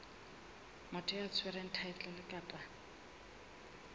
motho ya tshwereng thaetlele kapa